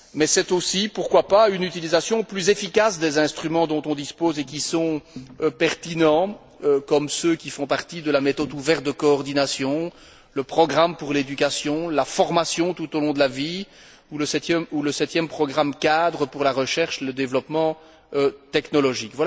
C'est aussi, pourquoi pas, une utilisation plus efficace des instruments dont on dispose et qui sont pertinents, comme ceux qui font partie de la méthode ouverte de coordination, le programme pour l'éducation, la formation tout au long de la vie ou le septième programme cadre pour la recherche et le développement technologique.